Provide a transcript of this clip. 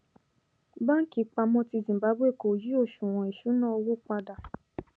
banki ìpamọ ti zimbabwe kò yí òṣuwọn ìṣúnná owó padà